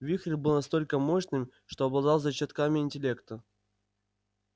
вихрь был настолько мощным что обладал зачатками интеллекта